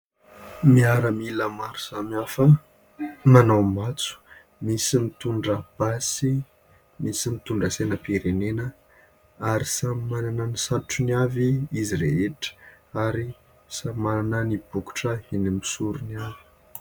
Miaramila maro samihafa manao matso, misy mitondra basy, misy mitondra sainam-pirenena ary samy manana ny satrony avy izy rehetra ary samy manana ny bokotra eny amin'ny sorony avy.